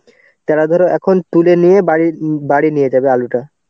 যারা ধরো এখন তুলে নিয়ে বাড়ি~ বাড়ি নিয়ে যাবে আলুটা.